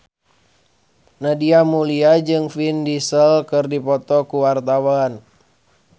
Nadia Mulya jeung Vin Diesel keur dipoto ku wartawan